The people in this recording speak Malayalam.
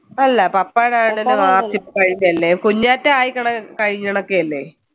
അല്ല കുഞ്ഞാറ്റ ആയി കഴിഞ്ഞു കിടക്കയല്ലേ